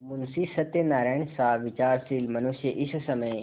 मुंशी सत्यनारायणसा विचारशील मनुष्य इस समय